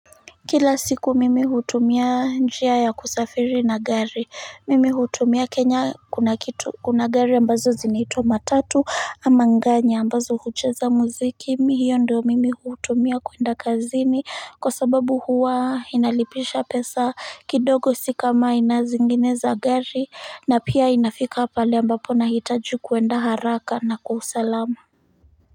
Kila siku mimi hutumia njia ya kusafiri na gari mimi hutumia kenya kuna kitu kuna gari ambazo zinaitwa matatu ama nganya ambazo hucheza muziki. Mimi hiyo ndio mimi hutumia kuenda kazini kwa sababu huwa inalipisha pesa kidogo si kama aina zingine za gari na pia inafika pale ambapo nahitaji kuenda haraka na kwa usalama.